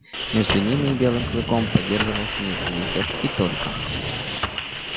между ними и белым клыком поддерживался нейтралитет и только